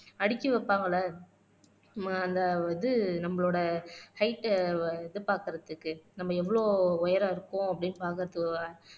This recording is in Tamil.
அடுக்கி வைப்பாங்கல்ல ஹம் அந்த இது நம்மளோட ஹெயிட்ட அஹ் இது பாக்குறதுக்கு நம்ம எவ்ளோ உயரம் இருக்கோம் அப்படின்னு பாக்குறதுகாக